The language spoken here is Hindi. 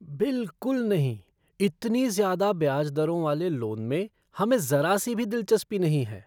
बिल्कुल नहीं! इतनी ज़्यादा ब्याज दरों वाले लोन में हमें ज़रा सी भी दिलचस्पी नहीं है।